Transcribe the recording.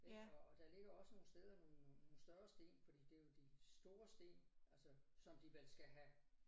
Ik og der ligger også nogle steder nogle nogle større sten fordi det er jo de store sten altså som de vel skal have